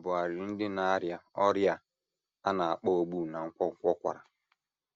NDỊ a bụ arịrị ndị na - arịa ọrịa a a na - akpọ ogbu na nkwonkwo kwara.